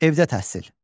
Evdə təhsil.